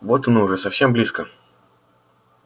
вот оно уже совсем близко